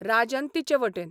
राजन तिचे वटेन.